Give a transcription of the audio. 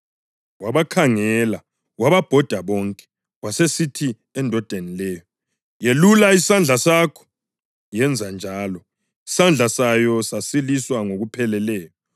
Wabakhangela wababhoda bonke, wasesithi endodeni leyo, “Yelula isandla sakho.” Yenza njalo, isandla sayo sasiliswa ngokupheleleyo.